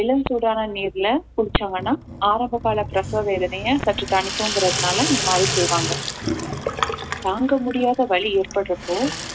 இளம் சூடான நீர்ல குளிச்சாங்கன்னா ஆரம்பகால பிரசவ வேதனையை சற்று தணிக்கும்கிறதுனால இந்த மாதிரி செய்வாங்க தாங்க முடியாத வலி ஏற்படுறப்போ